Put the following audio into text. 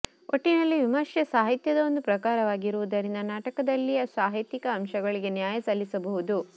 ಒಟ್ಟಿನಲ್ಲಿ ವಿಮರ್ಶೆ ಸಾಹಿತ್ಯದ ಒಂದು ಪ್ರಕಾರವಾಗಿರುವುದರಿಂದ ನಾಟಕದಲ್ಲಿಯ ಸಾಹಿತ್ಯಿಕ ಅಂಶಗಳಿಗೆ ನ್ಯಾಯ ಸಲ್ಲಿಸಬಹುದು